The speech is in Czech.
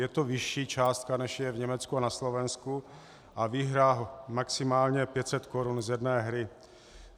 Je to vyšší částka, než je v Německu a na Slovensku, a výhra maximálně 500 korun z jedné hry.